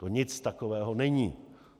To nic takového není.